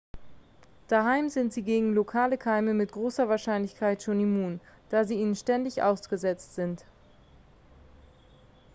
daheim sind sie gegen lokale keime mit großer wahrscheinlichkeit schon immun da sie ihnen ständig ausgesetzt sind